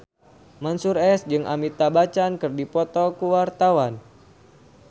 Mansyur S jeung Amitabh Bachchan keur dipoto ku wartawan